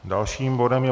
Dalším bodem je